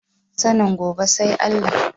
Sanin gobe sai Allah